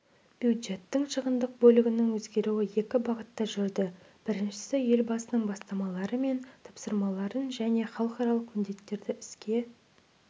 бюджеттің шығындық бөлігінің өзгеруі екі бағытта жүрді біріншісі елбасының бастамалары мен тапсырмаларын және халықаралық міндеттерді іске